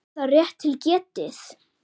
Er það rétt til getið?